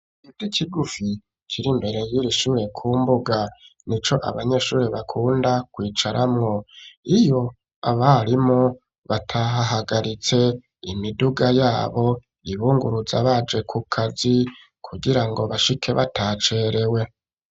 Gido ikigufi kiri imbere yiri ishimire ku mbuga ni co abanyeshuri bakunda kwicaramwo iyo abarimu batahahagaritse imiduga yabo ibunguruza baje ku kazi kugira ngo bashike batacerewe.